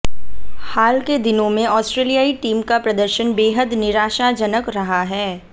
हाल के दिनों में आस्ट्रेलियाई टीम का प्रदर्शन बेहद निराशाजनक रहा है